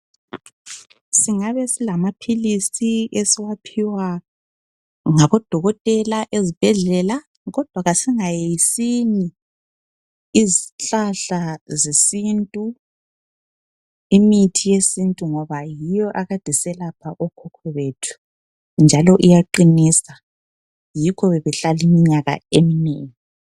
Singabe silamaphilisi esiwaphiwa ngabodokotela ezibhedlela, kodwa kasingayeyisini izihlahla zesintu, imithi yesintu ngoba yiyo akade iselapha ogogo bethu njalo iyaqinisa yikho bebehlala iimnyaka eminengi.